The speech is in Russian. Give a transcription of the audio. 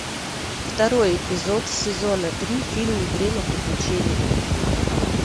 второй эпизод сезона три фильм время приключений